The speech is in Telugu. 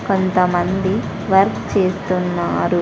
కొంతమంది వర్క్ చేస్తున్నారు.